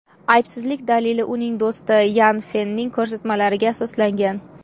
Aybsizlik dalili uning do‘sti Yan Fenning ko‘rsatmalariga asoslangan.